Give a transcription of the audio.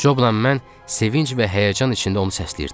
Cobla mən sevinc və həyəcan içində onu səsləyirdik.